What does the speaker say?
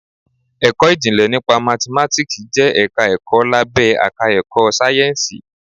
Ẹ̀kọ́ ìjìnlẹ̀ nípa Mathematics jẹ́ ẹ̀ka ẹ̀kọ́ lábé àká ẹ̀kọ́ sáyẹ́ǹsìì.